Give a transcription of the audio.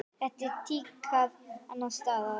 Er þetta tíðkað annars staðar?